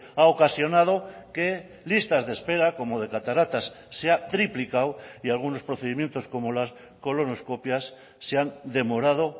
ha ocasionado que listas de espera como de cataratas se ha triplicado y algunos procedimientos como las colonoscopias se han demorado